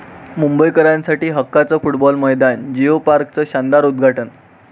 मुंबईकरांसाठी हक्काचं फुटबॉल मैदान, जियो पार्कचं शानदार उद्घाटन